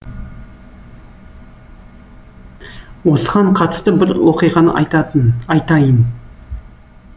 осыған қатысты бір оқиғаны айтатын айтайын